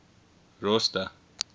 rosta